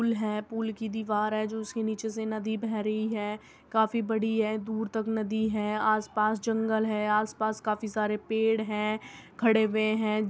पुल हैं पुल की दीवार हैं जो उसके नीचे से नदी बह रही हैं| काफी बड़ी हैं| दूर तक नदी हैं। आसपास जंगल हैं| आसपास काफी सारे पेड़ हैं| खड़े हुए हैं।